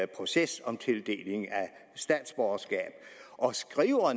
proces om tildeling af statsborgerskab og